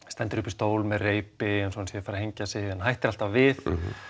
stendur uppi á stól með reipi eins og hann sé að fara að hengja sig en hættir alltaf við